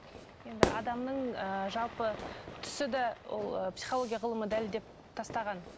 енді адамның ы жалпы түсі де ол психология ғылымы дәлелдеп тастаған